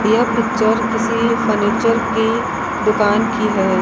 यह पिक्चर किसी फर्नीचर की दुकान की है।